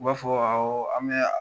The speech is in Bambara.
U b'a fɔ awɔ an bɛ